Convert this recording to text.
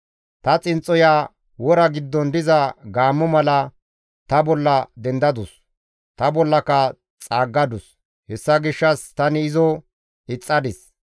Ta xinxxoya wora giddon diza gaammo mala ta bolla dendadus; ta bollaka xaaggadus; hessa gishshas tani izo ixxadis.